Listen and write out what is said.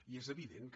i és evident que